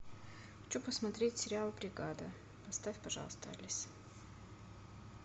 хочу посмотреть сериал бригада поставь пожалуйста алиса